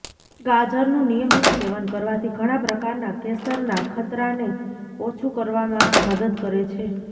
ગાજરનું નિયમિત સેવન કરવાથી ઘણા પ્રકારના કેસર ના ખતરાને ઓછું કરવામાં મદદ કરે છે